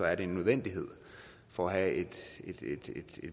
er det en nødvendighed for at have et